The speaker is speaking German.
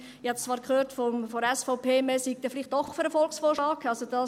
Ich habe jetzt von der SVP zwar gehört, man sei dann vielleicht doch für den Volksvorschlag.